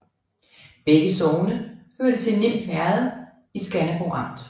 Begge sogne hørte til Nim Herred i Skanderborg Amt